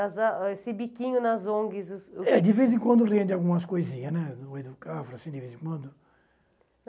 Esse biquinho nas ONGs... o senhor É, de vez em quando rende algumas coisinhas, né? No meio de vez em quando